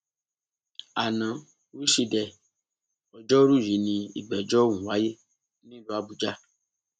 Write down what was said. ana wíṣídẹẹ ọjọrùú yìí ni ìgbẹjọ ọhún wáyé nílùú àbújá